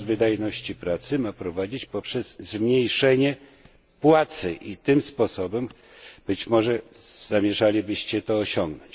wzrost wydajności pracy ma zostać wprowadzony poprzez zmniejszenie płacy i tym sposobem być może zamierzalibyście to osiągnąć.